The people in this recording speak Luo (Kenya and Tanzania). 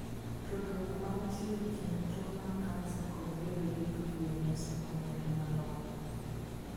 Tudruok mantie e kind tuo mar kansa kod bedo gi PVNS ok ong'ere malong'o.